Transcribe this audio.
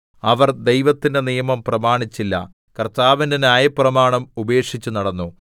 അവർ ദൈവത്തിന്റെ നിയമം പ്രമാണിച്ചില്ല കർത്താവിന്റെ ന്യായപ്രമാണം ഉപേക്ഷിച്ചു നടന്നു